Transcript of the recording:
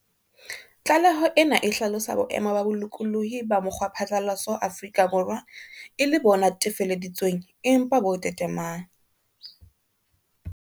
Tlaleho ena e hlalosa boemo ba bolokolohi ba mokgwaphatlalatso Afrika Borwa e le bo netefaleditsweng, empa bo tetemae.